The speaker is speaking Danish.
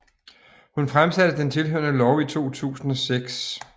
Hun fremsatte den tilhørende lov i 2006